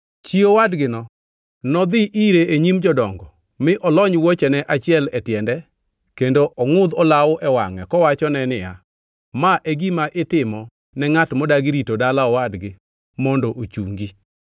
chi owadgino nodhi ire e nyim jodongo mi olony wuochene achiel e tiende kendo ongʼudh olawo e wangʼe kowachone niya, “Ma e gima itimo ne ngʼat modagi rito dala owadgi mondo ochungi.”